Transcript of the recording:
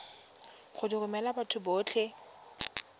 go di romela batho botlhe